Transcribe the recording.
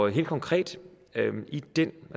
helt konkret